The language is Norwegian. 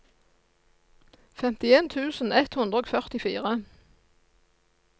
femtien tusen ett hundre og førtifire